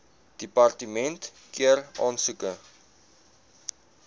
departement keur aansoeke